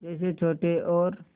जैसे छोटे और